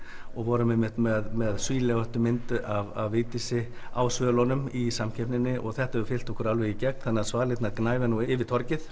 og vorum einmitt með með mynd af Vigdísi á svölunum í samkeppninni og þetta hefur fylgt okkur alveg í gegn þannig að svalirnar gnæfa nú yfir torgið